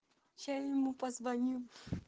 я ему позвонил